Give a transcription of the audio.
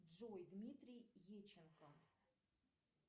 джой дмитрий еченко